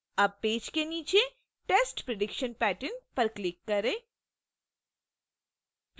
अब पेज में नीचे test prediction pattern पर click करें